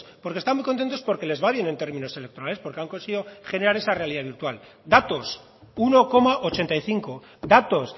porque están muy contentos porque les va bien en términos electorales porque han conseguido generar esa realidad virtual datos uno coma ochenta y cinco datos